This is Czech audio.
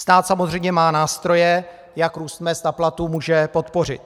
Stát samozřejmě má nástroje, jak růst mezd a platů může podpořit.